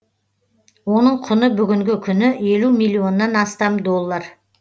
оның құны бүгінгі күні елу миллионнан астам доллар